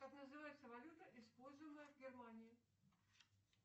как называется валюта используемая в германии